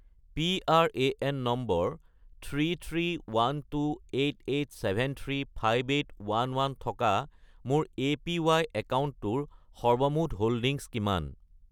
PRAN number 331288735811 থকা মোৰ APY একাউণ্টটোৰ সৰ্বমুঠ হোল্ডিংছ কিমান?